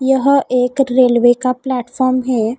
यह एक रेलवे का प्लेटफार्म है।